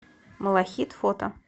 малахит фото